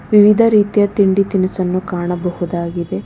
ವಿವಿಧ ರೀತಿಯ ತಿಂಡಿ ತಿನಿಸನ್ನು ಕಾಣಬಹುದಾಗಿದೆ.